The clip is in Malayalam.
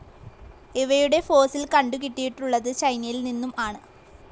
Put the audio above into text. ഇവയുടെ ഫോസിൽ കണ്ടു കിട്ടിയിട്ടുള്ളത് ചൈനയിൽ നിന്നും ആണ്.